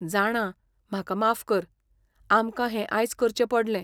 जाणां, म्हाका माफ कर, आमकां हें आयज करचें पडलें.